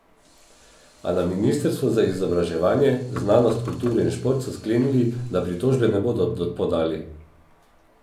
A na ministrstvu za izobraževanje, znanost, kulturo in šport so sklenili, da pritožbe ne bodo podali.